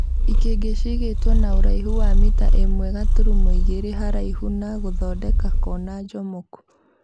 Ikĩngĩ ciigĩtwo na ũraihu wa mita ĩmwe gaturumo igĩrĩ haraihu na gũthondeka Kona njomoku